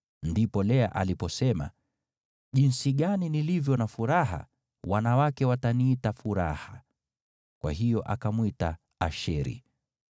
Ndipo Lea aliposema, “Jinsi gani nilivyo na furaha! Wanawake wataniita furaha.” Kwa hiyo akamwita Asheri.